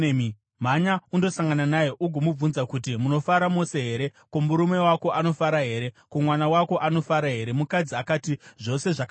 Mhanya undosangana naye ugomubvunza kuti, ‘Munofara mose here? Ko, murume wako anofara here? Ko, mwana wako anofara here?’ ” Mukadzi akati, “Zvose zvakanaka.”